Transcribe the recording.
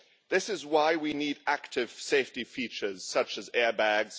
That is why we need active safety features such as air bags